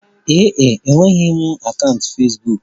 Ee e, emegheghị m akaụntụ Fesbuk.